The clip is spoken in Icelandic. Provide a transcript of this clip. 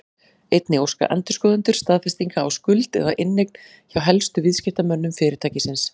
Einnig óska endurskoðendur staðfestinga á skuld eða inneign hjá helstu viðskiptamönnum fyrirtækisins.